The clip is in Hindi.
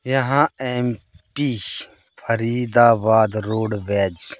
यहां एम_पी फरीदाबाद रोडवेज --